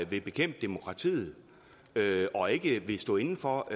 vil bekæmpe demokratiet og ikke vil stå inde for